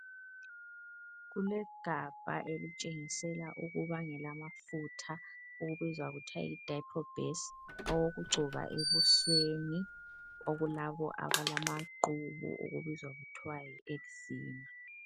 Kulegabha elitshengisela ukuba ngelamafutha okubizwa kuthiwa yi diprobase awokugcoba ebusweni okulabo abalamaqubu okubizwa kuthwa yi eczema.